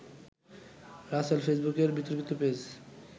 রাসেল ফেসবুকের বিতর্কিত পেজ